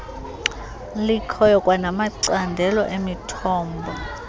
likhoyo kwanamacandelo emithombo